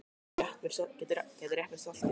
Gætirðu rétt mér saltið?